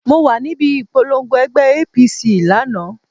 Mo wà níbi ìpolongo ẹgbẹ́ APC lánàá.